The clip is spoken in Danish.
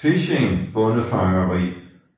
Phishing bondefangeri